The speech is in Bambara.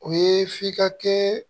O ye f'i ka kɛ